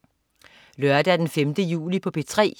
Lørdag den 5. juli - P3: